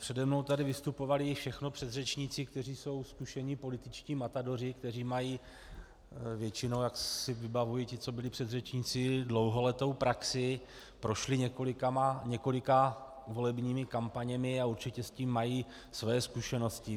Přede mnou tady vystupovali všechno předřečníci, kteří jsou zkušení političtí matadoři, kteří mají většinou, jak si vybavuji ty, co byli předřečníci, dlouholetou praxi, prošli několika volebními kampaněmi a určitě s tím mají své zkušenosti.